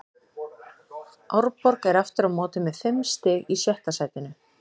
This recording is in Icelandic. Árborg er aftur á móti með fimm stig í sjötta sætinu.